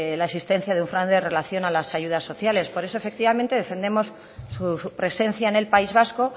la existencia de un fraude en relación a las ayudas sociales por eso efectivamente defendemos su presencia en el país vasco